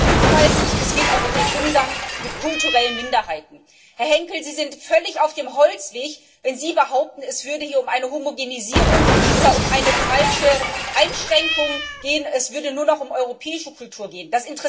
Es geht um Vielfalt und auch um den Umgang mit kulturellen Minderheiten. Herr Henkel, Sie sind völlig auf dem Holzweg, wenn Sie behaupten, es würde hier um eine Homogenisierung oder um eine falsche Einschränkung gehen, es würde nur noch um europäische Kultur gehen.